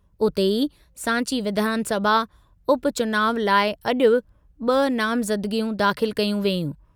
उते ई सांची विधानसभा उपचुनाव लाइ अॼु ॿ नामज़दगियूं दाख़िल कयूं वेयूं।